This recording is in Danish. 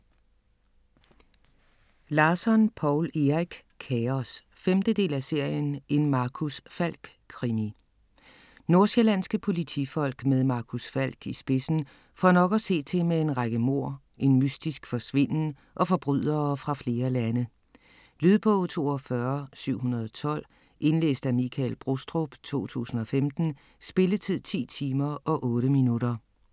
Larsson, Poul Erik: Kaos 5. del af serien En Marcus Falck krimi. Nordsjællandske politifolk med Marcus Falck i spidsen får nok at se til med en række mord, en mystisk forsvinden og forbrydere fra flere lande. Lydbog 42712 Indlæst af Michael Brostrup, 2015. Spilletid: 10 timer, 8 minutter.